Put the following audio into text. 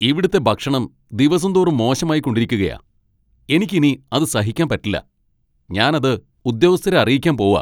ഇവിടുത്തെ ഭക്ഷണം ദിവസം തോറും മോശമായിക്കൊണ്ടിരിക്കുകയാ. എനിക്ക് ഇനി അത് സഹിക്കാൻ പറ്റില്ല, ഞാൻ അത് ഉദ്യോഗസ്ഥരെ അറിയിക്കാൻ പോവാ.